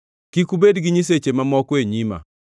“Kik ubed gi nyiseche mamoko e nyima.